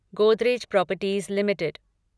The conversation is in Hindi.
Godrej properties limited